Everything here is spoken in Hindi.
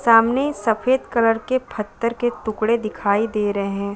सामने सफ़ेद कलर के पत्थर के टुकडे दिखाई दे रहे हैं।